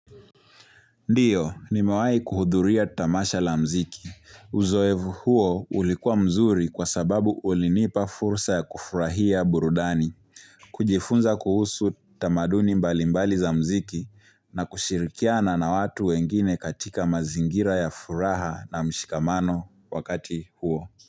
Ndiyo, nimewai kuhudhuria tamasha la mziki. Uzoevu huo ulikuwa mzuri kwa sababu ulinipa fursa ya kufurahia burudani. Kujifunza kuhusu tamaduni mbalimbali za mziki na kushirikiana na watu wengine katika mazingira ya furaha na mshikamano wakati huo.